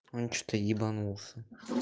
он что-то ебанулся